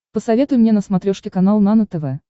посоветуй мне на смотрешке канал нано тв